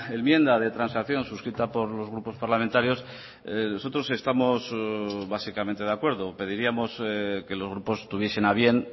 enmienda de transacción suscrita por los grupos parlamentarios nosotros estamos básicamente de acuerdo pediríamos que los grupos tuviesen a bien